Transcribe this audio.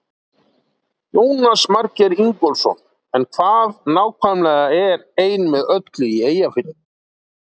Jónas Margeir Ingólfsson: En hvað nákvæmlega er Ein með öllu í Eyjafirði?